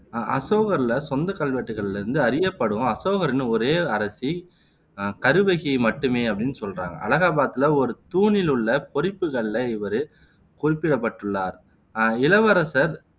அஹ் அசோகர்ல சொந்த கல்வெட்டுகளிலிருந்து அறியப்படும் அசோகரின் ஒரே அரசி அஹ் கருவகி மட்டுமே அப்படின்னு சொல்றாங்க அலகாபாத்துல ஒரு தூணில் உள்ள பொறிப்புகளில இவரு குறிப்பிடப்பட்டுள்ளார் அஹ் இளவரசர்